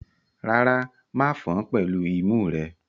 Rárá, ma fan án pẹ̀lú imú rẹ.